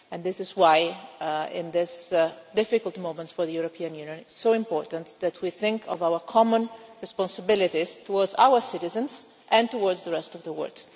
This is why, in these difficult moments for the European Union, it is so important that we think of our common responsibilities towards our citizens and towards the rest of the world.